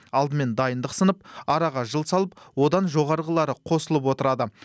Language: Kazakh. алдымен дайындық сынып араға жыл салып одан жоғарғылары қосылып отырады